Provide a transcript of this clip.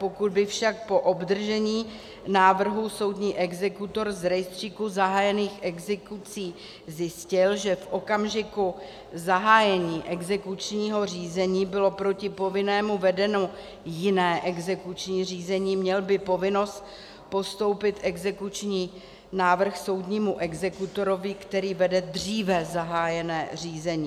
Pokud by však po obdržení návrhu soudní exekutor z rejstříku zahájených exekucí zjistil, že v okamžiku zahájení exekučního řízení bylo proti povinnému vedeno jiné exekuční řízení, měl by povinnost postoupit exekuční návrh soudnímu exekutorovi, který vede dříve zahájené řízení.